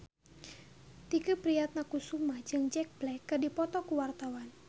Tike Priatnakusuma jeung Jack Black keur dipoto ku wartawan